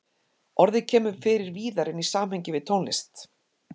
Orðið kemur fyrir víðar en í samhengi við tónlist.